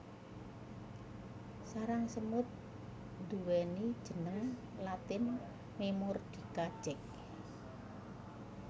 Sarang semut nduweni jeneng latin Memordica Jack